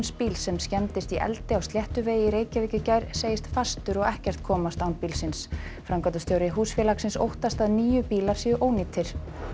bíls sem skemmdist í eldi á Sléttuvegi í Reykjavík í gær segist fastur og ekkert komast án bílsins framkvæmdastjóri húsfélagsins óttast að níu bílar séu ónýtir